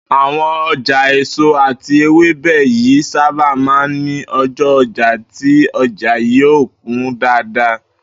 Àwo̩n o̩jà èso àti ewébè yìí sábà máa ń ní o̩jó̩ o̩jà tí o̩jà yóò kún dáadáa